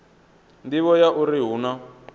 nḓivho ya uri hu na